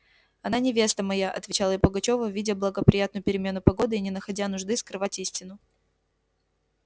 она невеста моя отвечал я пугачёву видя благоприятную перемену погоды и не находя нужды скрывать истину